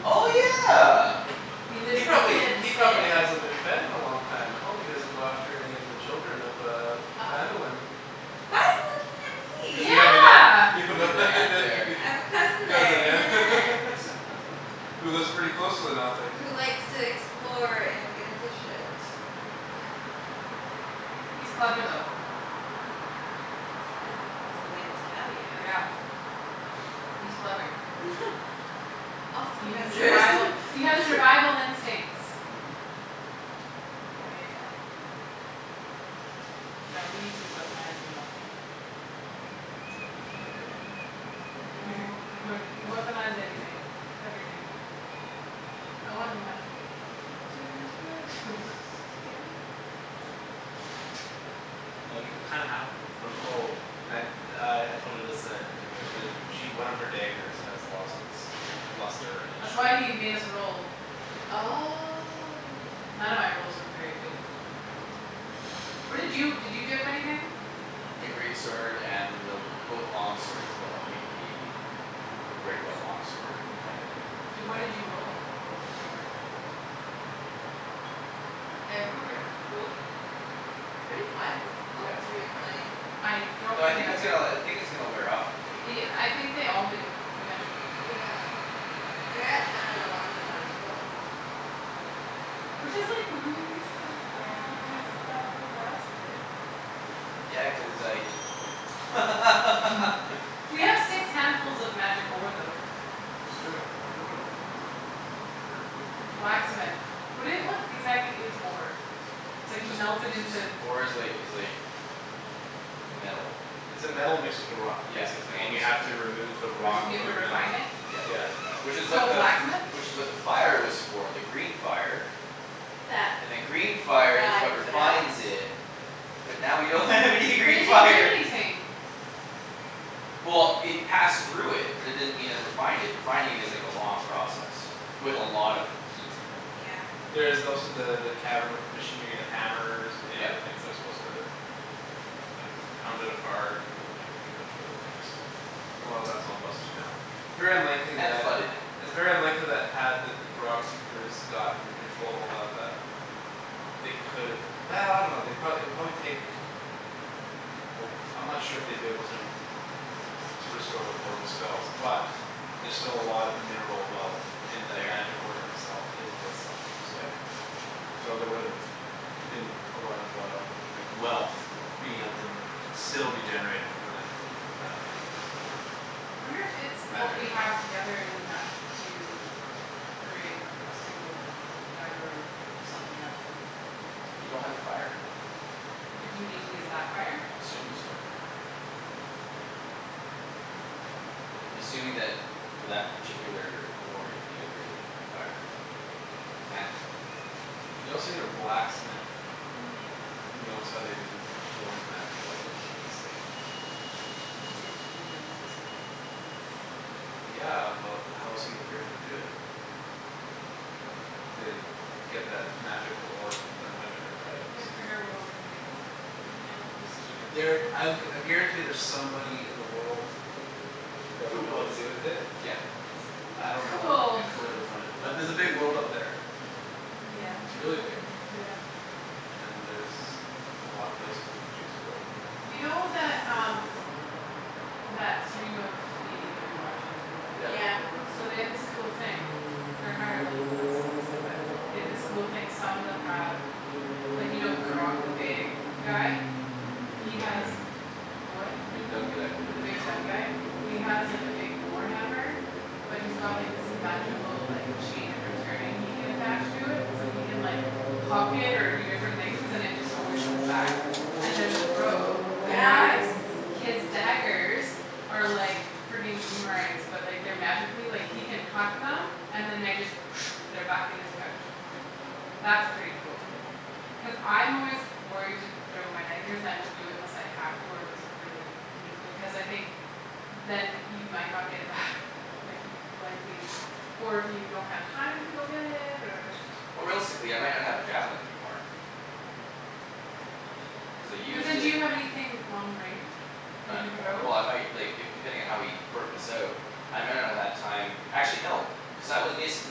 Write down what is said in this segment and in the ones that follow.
Oh yeah He lives He in the probably pit of he probably despair. hasn't been fed in a long time I hope he doesn't go after any of the children of uh Uh oh. Phandalin Why are you looking at Cuz you me? have a Yeah ne- you have You have an a aunt nephew there there I have a cousin there Cousin and an yeah aunt. Who lives pretty close to the Nothic. Who likes to explore and get into shit. Yeah. He's That's funny. clever though. Yeah, he's related to Calius Yeah He's clever. Also He has dangerous survival he has survival instincts. Mhm Yeah yeah yeah Yeah we need to weaponize the Nothic. He's not a good at weapon. No I'm like, "Weaponize anything. Everything." I want a magical weapon. Did I mention that? DM? Well you kinda have them oh And uh I told her this that I didn't tell you guys the She one of her daggers has lost its Luster and its That's why shine he made us roll. None of my Oh rolls were very good. What did you did you dip anything? My great sword and both long swords but only the The The great regular long sword sword had with the any long Di- what effect. did you sword roll? Remember? Nope, I don't I remember remember. rolled Pretty high for b- all Yeah three of I did. mine. I don't Though I think it's remember uh I the think it's gonna wear off pretty quickly y- here. I think they all do eventually. Yeah Like I got ten and elevens out of twelve. Which is like really sad because that's the last of it. Yeah cuz I took the flame We have six handfuls of magic ore though. It's true um I wonder what I wonder what you can do with that. Blacksmith. What do you what exactly is ore? It's like you Just melt it it's just into ore is like is like Metal. It's a metal mixed with a rock Yeah, it's Basically metal and you mixed have with the to remove the Re- so rock you have From to the refine metal. it? Yeah you have Yeah to refine it which is what So the blacksmith? Which is what the fire was for the green fire That And then green fire is I what put out? refines it. But now we don't have any But it green didn't do fire anything. Well it passed through it but it didn't mean it refined it refining is like a long process. With a lot of heat. Yeah There's also the the cavern with the Machinery the hammers and the other Yep. things They're supposed to like Pound it apart and like do a bunch of other things so And a lot of that's all busted down It's very unlikely And flooded that now. It's very unlikely that had the rock seekers gotten controllable about that They could've I dunno they'd pro- it'd probably take Oh I'm not sure if they'd be able to r- r- To restore the forge's spells but There're still a lot of mineral wealth And that There magic ore in itself is worth something so Yep So there would've been a lot of uh like wealth Being able to still be generated from that From that mine basically. Wonder if it's what Magic we or have not together is enough to Create a a single like dagger something out of You don't have the fire. But do you need to use that fire? I'm assuming so. I'm assuming that for that particular ore you need a very particular fire. Cuz it's magical. You also need a blacksmith Mhm Who knows how to forge magical items I would say. That seems really specific. Yeah but how else are you gonna figure out how to do it? To get that magical ore and learn how to turn it into items. Yeah figure out what we're gonna do with it. No Just keep it for There now? I'll I guarantee there's somebody in the world. That Who would know what to wants do it? with it. Yeah It's j- I don't know Cool if you'll ever find him. But there's a big world out Yeah there. Yeah It's really big. yeah And there's a lot of places you can choose to go. You know that um That stream of DND that we watch? Yep Yeah So they have this cool thing They're higher level than us obviously but they have this cool thing some of them have Like you know Grogg the big guy? The He big dumb has guy the what? The big dumb guy yeah. The big dumb guy? He has like a big war hammer But he's got this magical like Chain of returning he can attach to it so he can like Huck it or do different things and it just always comes back And there's a rogue that guy Yes His daggers Are like frigging boomerangs but like they're like magically like he can huck them and then they just They're back in his pouch. That's pretty cool. Yep Cuz I'm always worried to throw my daggers and I won't do it unless I have to or if it's a really need like cuz I think Then you might not get it back Like you'd likely Or if you don't have time to go get it or Or realistically I might not have a javelin anymore. Oh shit. Cuz I But used then do it you have anything long range you Not can anymor- throw? Well I might like if depending on how we work this out. I might not have had time actually no cuz I was basically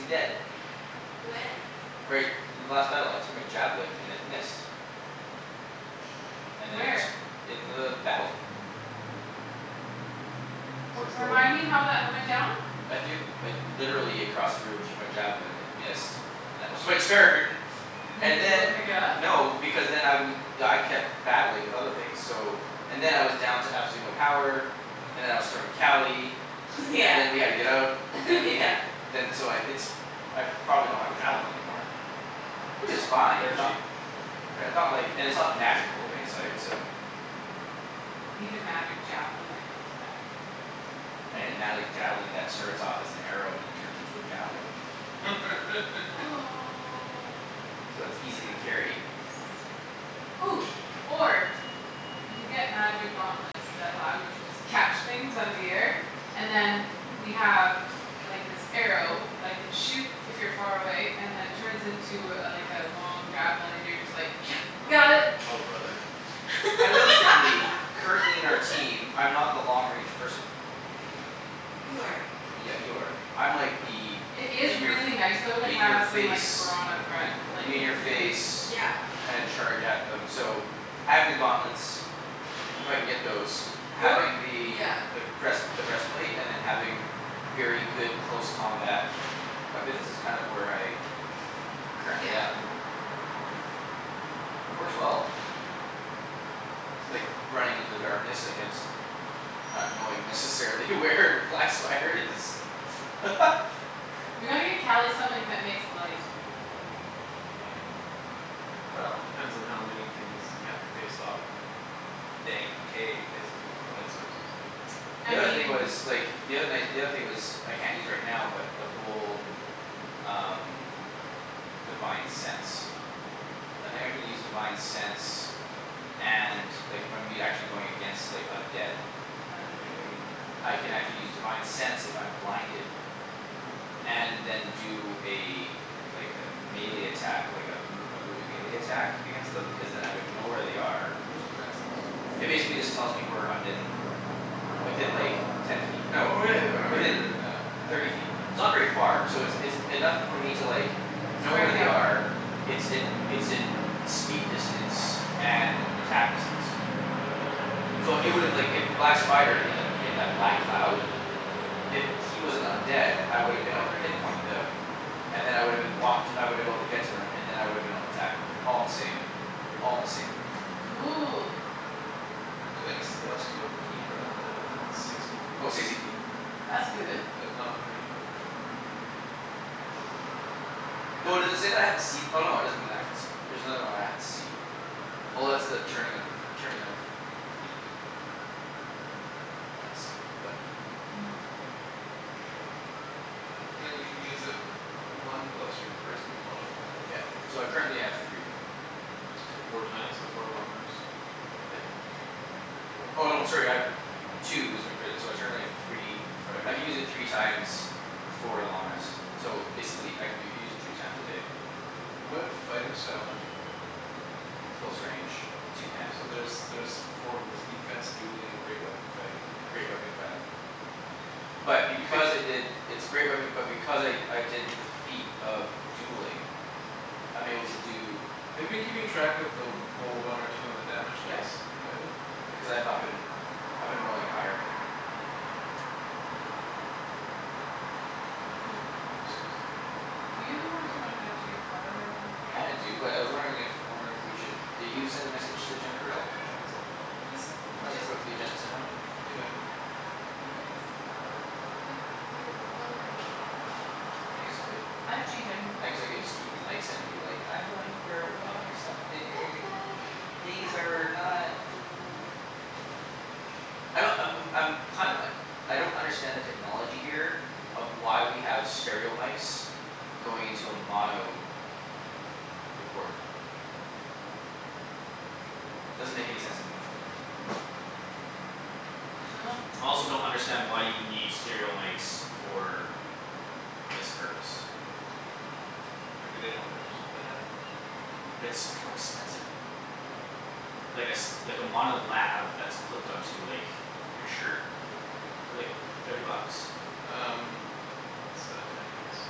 dead. When? Right last battle I threw my javelin and it missed. Oh fuck And then Where? it in the battle. So Well it's still remind in the me how that went down? I threw like literally across the room I threw my javelin it missed. And that was my turn. Did And you go then pick it up? no because then I we I kept battling with other things so And then I was down to absolutely no power And then I was throwing Cali Yeah And then we had to get out and then we yeah had to Then so I it's I probably don't have a javelin anymore. Which is fine They're it's not cheap. they're not like and it's not magical of any sort so You need a magic javelin that comes back. I need a magic javelin that starts off as an arrow then turns into a javelin. Oh Oh So yes it's easy to carry. Or You get magic gauntlets that allow you to just catch things out of the air And then we have like this arrow that I can shoot if you're far away and it turns into a like a long javelin and you're just like, Oh "got bro- it." oh brother. I realistically currently in our team I'm not the long range person. You That's true. are Yeah you are. I'm like the It is in your f- really nice though to In your have some like face brawn up front. Like In Mhm your really. face yeah kind of charge at them so having the gauntlets If I can get those You're having the yeah the breast the breastplate and then having Very good close combat weapons is kind of where I I'm currently at. Yeah Mhm Works well. Like running into the darkness against Not knowing necessarily where the black spider is We gotta get Cali something that makes light. Well depends on how many things you have to face off in a Dank cave basically with no light sources. I The other thing mean But was like the other night the other thing was I can't use right now but the whole Um divine sense I think I can use divine sense and like I'm e- actually if I'm going against undead. Thunder Tree. I can actually use divine sense if I'm blinded. Hmm And then do a Like a melee attack like a m- a moving melee attack against them because then I would know where they are What does divine sense do? It basically just tells me where undead people are. Oh Within like ten feet no Oh right I remember you were within doing that. thirty feet. It's not very far. So it's it's enough for me to like Know where Strike they at them. are it's in it's in Speed distance and attack distance So it would've like if that black spider in that in the black cloud Mhm If he was an undead I would've You'd been able know to where he was. pinpoint them. And then I would've been walked I woulda been able to get to him and then I would've been able to attack him. All in the same all in the same move. Cool So any celestial fiend or undead within sixty feet Oh of sixty you. feet. That's good. That is not behind total cover. Yeah Though does it say that I have to see no it doesn't mean I can see There's another one where I have to see. Oh that's the turning of the f- turning of Fiend. I had to see them but Hmm Then you can use it One plus your charisma modifier. Yeah so I currently have three. So four times before a long rest. Yep. Cool Oh no sorry I have Two is my charisma so I currently have three Right I can use okay. it three times Before a long rest. So basically I can do it u- use it three times a day. What fighting style did you pick? Close range two handed So there's there's four of those, defense, dueling, great weapon fighting, and Great protection. weapon fighting. But You because I picked did It's a great weapon but because I I did defeat of dueling I'm able to do Have you been keeping track of the roll a one or two on the damage Yes dice? I You have it up. haven't? Okay. Because I've not been. I've been rolling higher Cool Then they must use in a roll. Do you want to run down to your car? I kinda do but I was wondering if I wonder if we should did you send a message to Jennifer at all? I haven't sent one. Just Do you you wanna just quickly send one? Yeah yeah Why don't you just go put a few buck like a dollar in? I guess I could. I have change I can go I guess I could just keep these mics in and be like I'm going for a walk or something. These are not I don't I'm I'm I'm kind of uh I don't understand the technology here Of why we have stereo mics Going into a mono recorder. Doesn't make any sense to me. Dunno I also don't understand why you would need stereo mics for This purpose. Maybe they don't maybe just what they had. But it's so much more expensive. Like a s- like a mono lav that's clipped on to like your shirt Yeah. they're like thirty bucks. Um It's uh ten minutes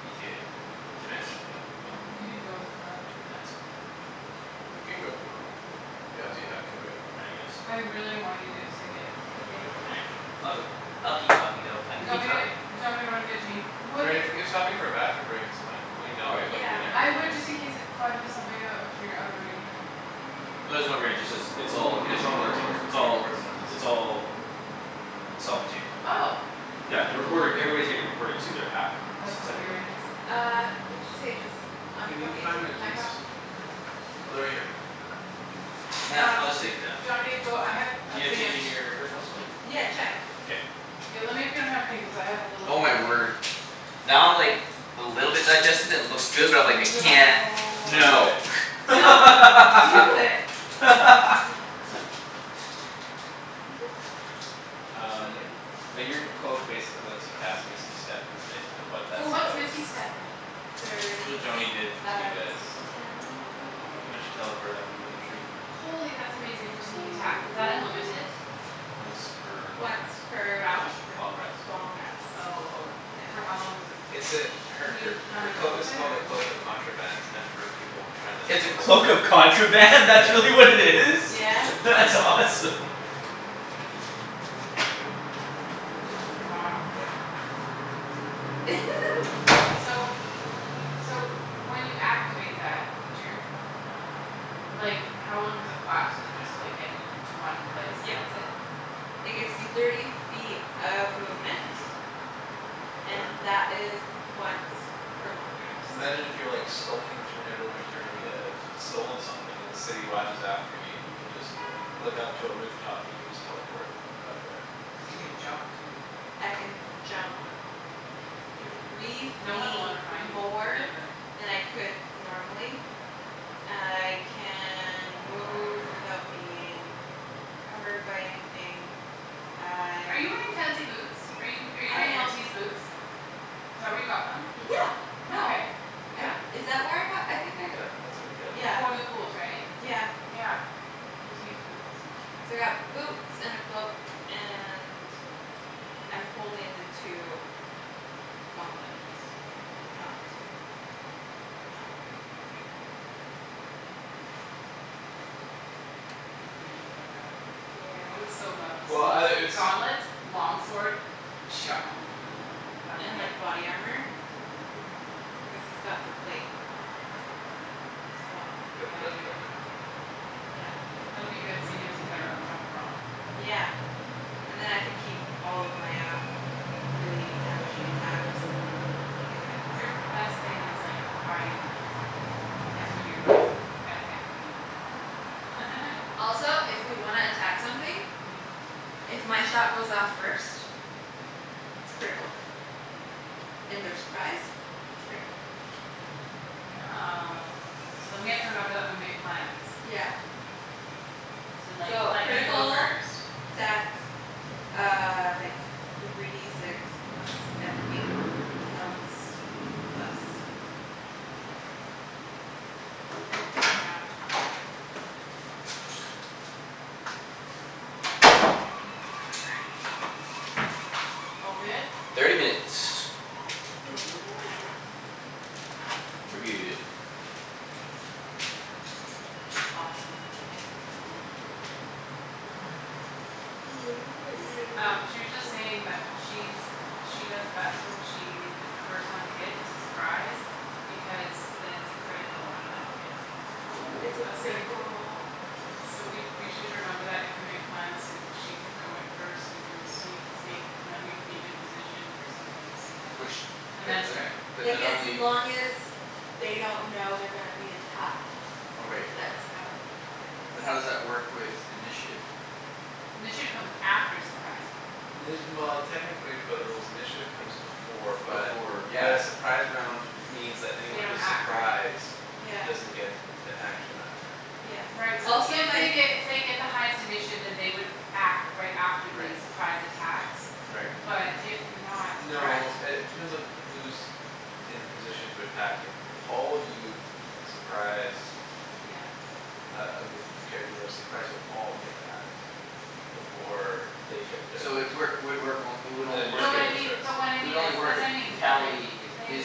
ETA to Ten minutes? finish yeah. Okay. You should go to the car. Nah that's all right I'll be fine. You can go if you want. If you have to you have to right? I guess I really don't want you to get a ticket. Yeah All right. I'll go. I'll keep talking though. I Do can you want keep me talking. do you want me to run and get change? Would Right it if if stopping for a bathroom break is fine, going All down right to plug Yeah your meter is I K. fine. would just in case it fudges something out if you're out of range or something. No there's no range. It's all Yeah it's getting all recorded it's right all here. just It's being all recorded on this. it's all Self contained. Oh Yeah the recording everybody's getting recorded to their pack. S- That's separately. hilarious Uh what'd she say just Can you unplug it and find take my the pack keys off? for him? Oh they're right here. Nah, Um I'll just take it down. do you want me to go I have a You have thing of change in your purse possibly? Yeah check K Yo lemme if you don't have a thing cuz I have a little Oh my container word. Now I'm like A little bit digested and it looks good but I'm like, "I can't" No Don't do No. it. Don't do it Don't man do it. Oh. They're so Um good but your cloak Yeah basically lets you cast misty step is basically what that Oh what's spell is. misty step again? It's what Thirty Joany feet did to you of guys. teleportation. When she teleported up to the tree Holy that's amazing for sneak attack. Is Thirty that unlimited? feet. Once per long Once rest. per r- Round? r- Long rest. long rest. Oh Yeah for how long does it It's l- a her can her you come her and go cloak is with it called a or? cloak of contraband It's meant for people tryin' to It's a smuggle. cloak of contraband? That's Yeah really what it is? Yeah That's awesome. Wow Yep So So when you activate that feature Like how long does it last? Does it just like get you to one place Yep. and that's it? It It's gets me thirty feet of movement. Um And a that is once per long rest. Imagine if you're skulking through Neverwinter and you have Stolen something and the city watch is after you you could just Look up to a roof top and you could just teleport Up there Cuz or you something. can jump too. I can jump Three No one'll feet ever find you. more Forget about it. than I could normally I can move without being Encumbered by anything Are I you wearing fancy boots? Are you I wearing am Li'l T's boots? Is that where you got them? Yeah Yeah no. Okay. I Yeah? is that where I got them? I think I g- Yeah that's where you got them. Yeah Before the ghouls right? yeah Yeah. Li'l T's boots. So I got boots and a cloak and I'm holding the two gauntlets they're not Not wearing them. I think Ian would like that. I would Yeah so love to Well outta see it's gauntlets long sword Chop. That would And be like epic. body armor Cuz he's got the plate as well You got the Yeah best yeah plate yeah man Yeah That'll be good seeing as he's our up front brawn. Yeah And then I can keep all of my uh really damaging attacks. Sneak attacks Your best thing is like hiding and then attacking. Yeah That's when you're like epicly Also if we wanna attack something. Mhm If my shot goes off first It's critical and they're surprised It's critical Oh so then we have to remember that when we make plans Yeah To like So let you go critical first. attack uh like Three D six plus everything else plus Yeah All good? Thirty minutes. Cool Thirty cool minutes. We're good. Awesome. I might need Um another she was just coffee. saying that she's She does best when she is the first one to hit it's a surprise. Because then it's a critical automatic hit. It's Oh a I was saying critical roll So we we on should the attack. remember that if we make plans that she could go in first and do a sneaky sneak And then we could be in position for something sometimes. Which And but then un- strike. Like but as only long as they don't know they're gonna be attacked. Oh right. That's how it it is But how does that work with initiative? Initiative comes after surprise. Well technically by the rules initiative Comes before but Before but yeah a Surprise round means that They anyone don't who's act, right? Surprised Yeah doesn't get An action that turn Yeah Right so also if my they f- get if they get the highest initiative then they would act right after Right. the surprise attacks Right. But if not N- no correct? uh it depends on who's In position to attack if All of you surprise Yeah Uh a group of characters that are surprised you'll all get to act Before they get their So it first work would work it would Then only work No initiative but if I wouldn't mean start but what I It would mean is only work that's if what I mean that like Cali if they is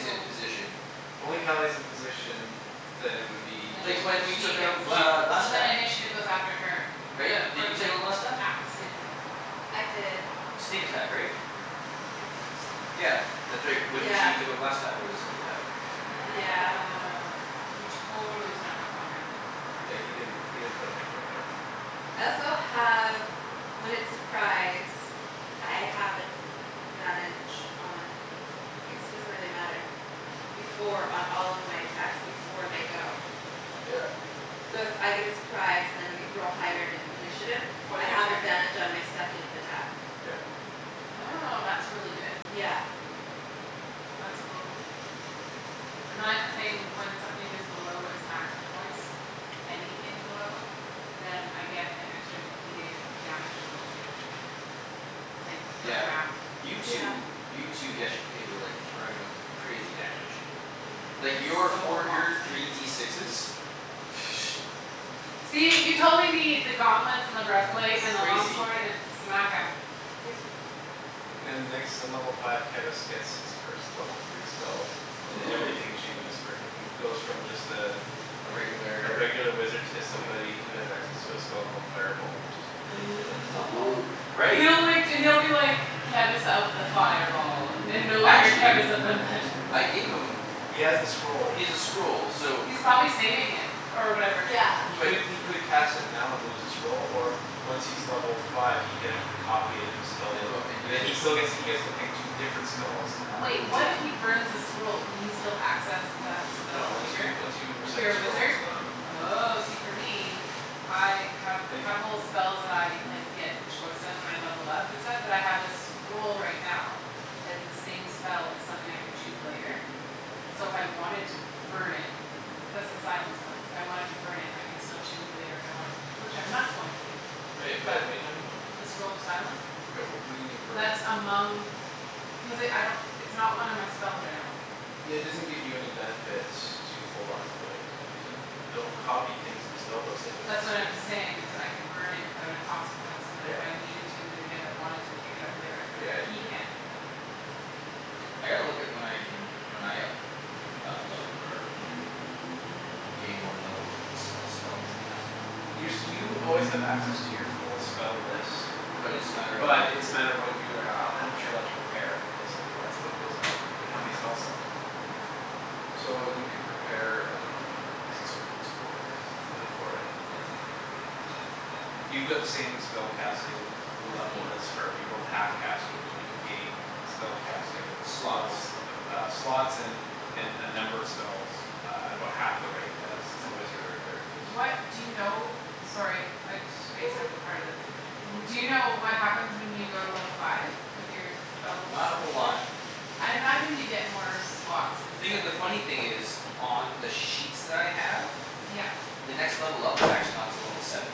in position. If only Cali is in position Then it would be Then Like just only when we she took out gets it she'd Gl- so then Glastaff. initiative goes after her. Right? The Did or you take like out Glastaff? acts in I did Sneak attack right? I think so Yeah that's right. When Yeah she took out Glastaff it was a sneak attack. Yeah Yeah we totally snuck up on him. Yeah he didn't he didn't put up that much of a fight. I also have when it's surprise I have advantage on I guess it doesn't really matter Before on all of my attacks before they go. Yeah So if I get a surprise and I g- we're all higher in- initiative Before I their have turn? advantage on my second attack. Yeah Oh that's really good. Yeah That's cool And then I have a thing when something is below its max hit points Anything below Then I get an extra D eight of damage to roll. Like per Yeah round. you Yeah two you two yesterday were like throwing out some crazy damage. Like It was your Yes so four your awesome. three D sixes See you totally need the gauntlets and the That was breastplate and the long crazy. sword and smack 'em. Yep And next in level five Kevus gets his first level three spells And everything changes Oh for him. He goes from just uh A A regular regular wizard To like somebody who has access to a spell called Fireball which is ridiculous. Oh god Right He'll like d- he'll be like Kevus of the fireball And no longer Actually Kevus of the magic missile. I gave them He has the scroll. He's a scroll so He's probably saving it or whatever. He Yeah But could he could cast it now and lose the scroll Or once he's level five he can Actually copy it into his spell In book book and And then use he it. still gets he gets to pick two different spells to add Wait what if he burns the scroll? Can he still access that No spell once you later? once you If recite a you're a scroll it's wizard? gone. Oh see for me I have a And if you couple spells that I like get choice of when I levelled up and stuff but I have a scroll right now Has the same spell as something I could choose later So if I wanted to burn it That's the silence one. If I wanted to burn it I could still choose it later if I wanted to which I'm not going to do. Wait wait But what're you talking about? the scroll of silence Right well what do you mean burn it? That among Cuz it I don't it's not one of my spells right now. Yeah it doesn't give you any benefit to hold on to it Cuz you don't copy things into spellbooks Like wizards That's what do I'm saying is I could burn it without a consequence And then if I Yeah needed to use it again or wanted to pick it up later I could. Yeah you He could. can't do that I gotta look at when I can when I up up level or gain more levels and sp- spells and cast 'em Your you always have access to your full spell list But it's just a matter of like But it's a matter of what you uh how much you're allowed To prepare, basically that's what goes up for you and how many spell slots you have. So you can prepare I dunno what number it I is think it's but it's four right now Only four right? Yeah it's not very many. Yeah. You got the same spellcasting As Level me? as her. You're both half casters which means you gain Spell casting Slots levels uh slots and And uh number of spells uh At about half the rate as a So wizard or Cleric What does do you know? Sorry I spaced out for part of this. W- do you know what happens when you go to level five? With your spell Not a whole lot. situation? I'd imagine you get more slots and Thing i- stuff the like funny me. thing is On the sheets that I have Yep. The next level up is actually not till level seven.